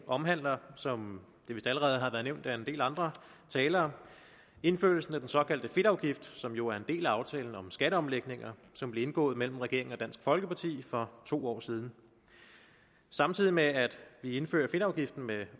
omhandler som det vist allerede har været nævnt af en del andre talere indførelsen af den såkaldte fedtafgift som jo er en del af aftalen om skatteomlægninger som blev indgået mellem regeringen og dansk folkeparti for to år siden samtidig med at vi indfører fedtafgiften med